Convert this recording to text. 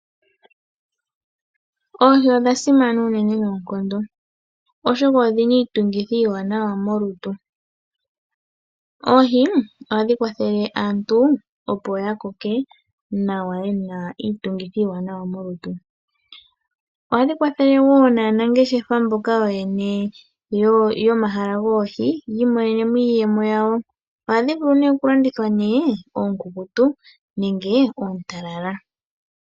Oohi odha simana unene noonkondo oshoka odhina iitungithi iiwanawa molutu. Oohi ohadhi kwathele aantu opo yakoke nawa yena iitungithi iiwanawa molutu. Ohadhi kwathele wo naanangeshefa mboka ooyene yomahala goohi yi imonene iiyemo yawo. Ohadhi vulu nee okulandithwa oonkukutu nenge oontalala.